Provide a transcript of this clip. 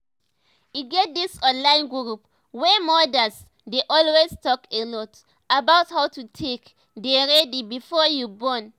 e get dis online group wey mothers dey always talk a lot about how to take dey ready before you born